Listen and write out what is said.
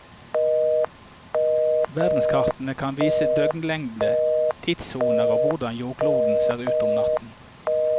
Verdenskartet kan vise døgnlengde, tidssoner og hvordan jordkloden ser ut om natten.